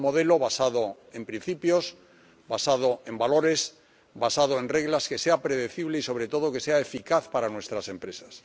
Un modelo basado en principios, basado en valores, basado en reglas que sea predecible y, sobre todo, que sea eficaz para nuestras empresas.